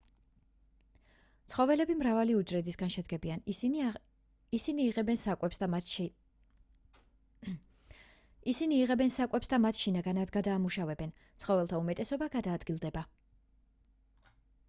ცხოველები მრავალი უჯრედისგან შედგებიან ისინი იღებენ საკვებს და მათ შინაგანად გადაამუშავებენ ცხოველთა უმეტესობა გადაადგილდება